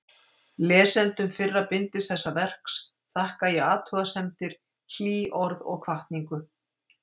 Lesendum fyrra bindis þessa verks þakka ég athugasemdir, hlý orð og hvatningu.